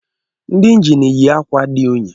Ndị engine yi ákwà dị unyi